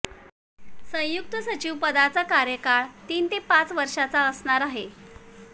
संयुक्त सचिव पदाचा कार्यकाळ तीन ते पाच वर्षांचा असणार आहे